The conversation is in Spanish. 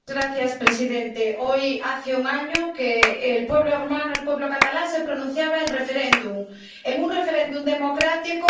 Señor presidente, hoy hace un año que el pueblo hermano, el pueblo catalán, se pronunciaba en referéndum, en un referéndum democrático.